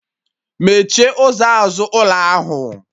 Mechie ụzọ azụ ụlọ ahụ!